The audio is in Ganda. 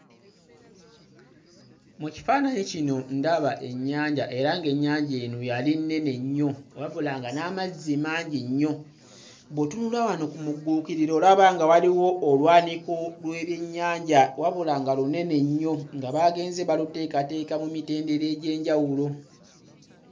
Mu kifaananyi kino ndaba ennyanja era ng'ennyanja eno yali nnene nnyo wabula nga n'amazzi mangi nnyo. Bw'otunula wano ku mugguukiriro olaba nga waliwo olwaniko lw'ebyennyanja wabula nga lunene nnyo nga baagenze baluteekateeka mu mitendera egy'enjawulo.